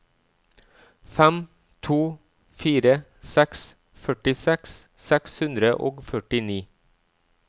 fem to fire seks førtiseks seks hundre og førtini